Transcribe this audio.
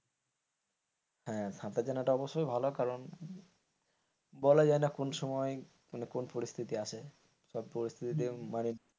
হ্যাঁ সাঁতার জানাটা অবশ্যই ভালো কারণ বলা যায় না কোন সময় মানে কোন পরিস্থিতি আসে সব পরিস্থিতির মানে,